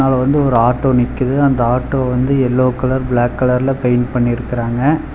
அ வந்து ஒரு ஆட்டோ நிக்கிது அந்த ஆட்டோ வந்து எல்லோ கலர் பிளாக் கலர்ல பெயண்ட் பண்ணி இருக்கிறாங்க.